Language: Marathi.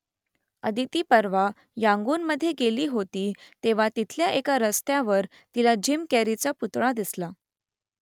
अदिती परवा यांगूनमध्ये गेली होती तेव्हा तिथल्या एका रस्त्यावर तिला जिम कॅरीचा पुतळा दिसला